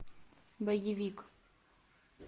боевик